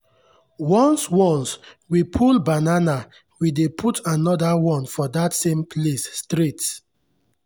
once once we pull banana we dey put another one for that same place straight.